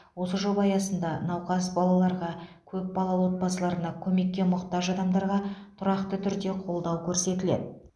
осы жоба аясында науқас балаларға көп балалы отбасыларына көмекке мұқтаж адамдарға тұрақты түрде қолдау көрсетіледі